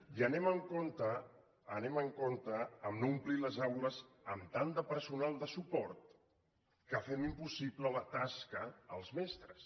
i anem amb compte anem amb compte a no omplir les aules amb tant de personal de suport que fem impossible la tasca als mestres